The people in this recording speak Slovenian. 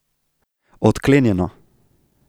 Odklenjeno.